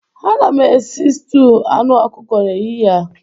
Aga m esi stuụ anụ ọkụkọ n'ehihie a.